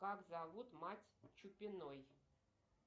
как зовут мать чупиной